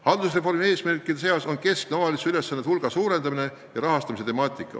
Haldusreformi eesmärkidest rääkides tuleb nimetada omavalitsuse ülesannete hulga suurendamise ja rahastamise temaatikat.